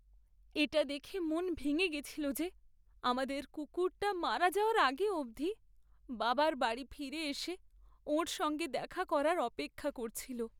এটা দেখে মন ভেঙে গেছিল যে আমাদের কুকুরটা মারা যাওয়ার আগে অবধি বাবার বাড়ি ফিরে এসে ওঁর সঙ্গে দেখা করার অপেক্ষা করছিল।